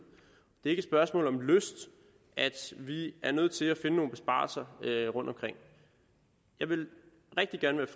det er ikke et spørgsmål om lyst at vi er nødt til at finde nogle besparelser rundtomkring jeg ville rigtig gerne